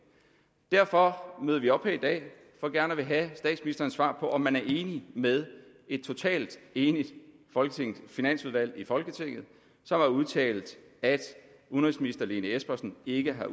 derfor møder vi op her i dag for gerne at ville have statsministerens svar på om man er enig med et totalt enigt finansudvalg i folketinget som har udtalt at udenrigsminister lene espersen ikke har